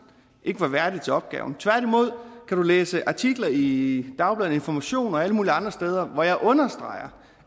ikke var værdig til opgaven tværtimod kan du læse artikler i dagbladet information og alle mulige andre steder hvor jeg understreger